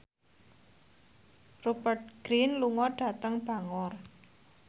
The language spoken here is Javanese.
Rupert Grin lunga dhateng Bangor